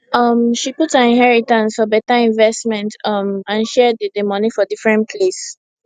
um she put her inheritance for better investment um and share d d money for different place